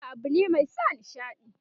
waƙa abune Mai sa nishaɗi.